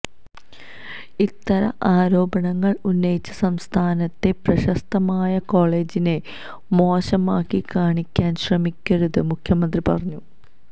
ഇത്തരം ആരോപണങ്ങള് ഉന്നയിച്ച് സംസ്ഥാനത്തെ പ്രശസ്തമായ കോളജിനെ മോശമാക്കി കാണിക്കാന് ശ്രമിക്കരുത് മുഖ്യമന്ത്രി പറഞ്ഞു